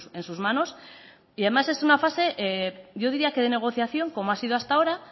en sus manos y además es una fase yo diría que de negociación como ha sido hasta ahora